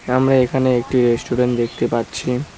আমরা এখানে একটি রেস্টুরেন্ট দেখতে পাচ্ছি।